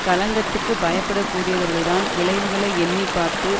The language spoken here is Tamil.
களங்கத்துக்குப் பயப்பட கூடியவர்கள்தான் விளைவுகளை எண்ணி பார்த்து